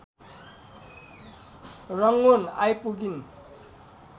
Rangoon आइपुगिन्।